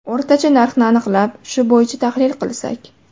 O‘rtacha narxni aniqlab, shu bo‘yicha tahlil qilsak.